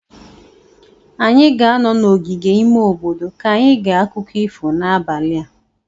anyị ga-anọ n'ogige ime obodo ka anyị gee akụkọ ifo n'abalị a.